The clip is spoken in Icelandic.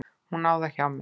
Hún á það hjá mér.